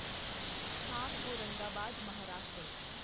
ਖਾਮ Aurangabad Maharashtra